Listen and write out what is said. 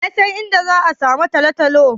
Wa ya san inda za'a samu Talatalo.